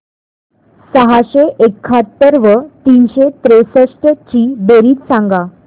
सहाशे एकाहत्तर व तीनशे त्रेसष्ट ची बेरीज सांगा